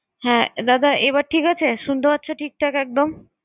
হ্যাঁ দাদা এবার ঠিক আছে? শুনতে পাচ্ছো ঠিকঠাক একদম?